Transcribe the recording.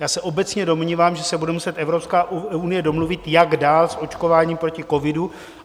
Já se obecně domnívám, že se bude muset Evropská unie domluvit, jak dál s očkováním proti covidu.